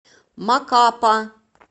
макапа